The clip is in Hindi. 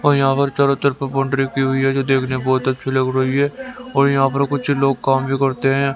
और यहां पर चारों तरफ बॉउंड्री की हुई है जो देखने में बहोत अच्छी लग रही है और यहां कुछ लोग काम भी करते हैं।